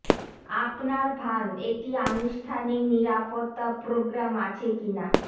আপনার ফার্ম একটি আনুষ্ঠানিক নিরাপত্তা প্রোগ্রাম আছে কি না